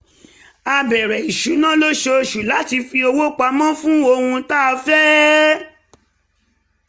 a bere isuna l'osososu lati fi owo pamo fun ohun ta fe